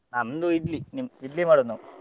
ನಮ್ದು idli ನಿಮ್ idli ಮಾಡುದು ನಾವು.